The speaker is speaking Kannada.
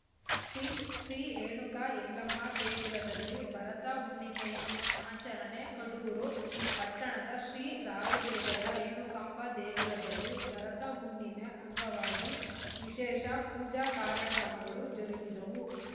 ಟಿಂಟ್‌ ಶ್ರೀ ರೇಣುಕಾ ಎಲ್ಲಮ್ಮ ದೇಗುಲದಲ್ಲಿ ಭರತ ಹುಣ್ಣಿಮೆ ಆಚರಣೆ ಕಡೂರು ಪಟ್ಟಣದ ಶ್ರೀ ರಾಯದುರ್ಗದ ರೇಣುಕಾಂಬ ದೇಗುಲದಲ್ಲಿ ಭರತ ಹುಣ್ಣಿಮೆ ಅಂಗವಾಗಿ ವಿಶೇಷ ಪೂಜಾ ಕಾರ್ಯಕ್ರಮಗಳು ಜರುಗಿದವು